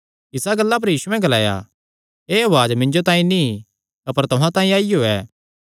इस गल्ला पर यीशुयैं ग्लाया एह़ उआज़ मिन्जो तांई नीं अपर तुहां तांई आईयो ऐ